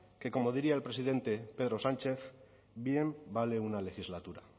que como diría el presidente pedro sánchez bien vale una legislatura